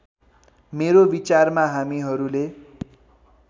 मेरो विचारमा हामीहरूले